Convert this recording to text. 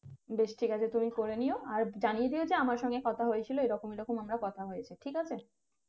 বেশ ঠিক আছে তুমি করে নিয়ো আর জানিয়ে দিয়ো যে আমার সঙ্গে কথা হয়েছিল এরকম এরকম আমরা কথা হয়েছে ঠিক আছে